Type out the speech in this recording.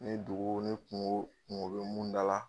Ni dugu ni kuŋo kuŋo be mun da la